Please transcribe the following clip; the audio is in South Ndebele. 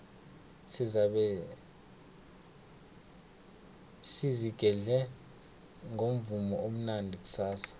sizabe sizigedle ngomvumo omnandi kusasa